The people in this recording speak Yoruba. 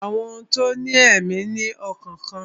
Àwọn ohun tó ní èmí ní ọkàn kan